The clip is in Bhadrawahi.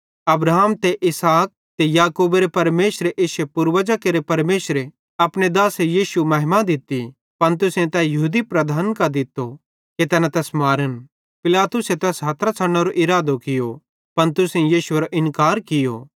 अब्राहम ते इसहाक ते याकूबेरे परमेशरे ते इश्शे पूर्वजां केरे परमेशर अपने दासे यीशु महिमा दित्ती पन तुसेईं तै यहूदी लीडरन कां दित्तो कि तैना तैस मारन पिलातुसे तै हथरां छ़डनेरो इरादो कियो पन तुसेईं यीशुएरो इन्कार कियो